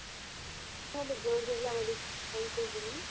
ಆಮೇಲೆ government job ಬಂತು ಅಂದ್ರೆ.